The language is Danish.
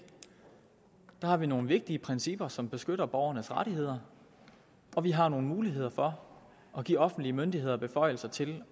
der har vi nogle vigtige principper som beskytter borgernes rettigheder og vi har nogle muligheder for at give offentlige myndigheder beføjelser til